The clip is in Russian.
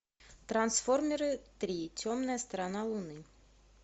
трансформеры три темная сторона луны